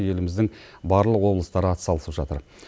еліміздің барлық облыстар атсалысып жатыр